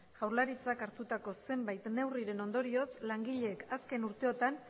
jaurlaritzak hartutako zenbait neurriren ondorioz langileek azken urteotan